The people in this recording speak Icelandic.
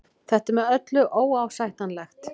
Þetta er með öllu óásættanlegt